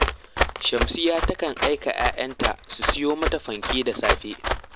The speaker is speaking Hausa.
Shamsiyya takan aika ‘ya’yanta su siyo mata fanke da safe